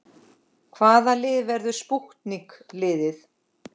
Hvaða lið verður spútnik liðið?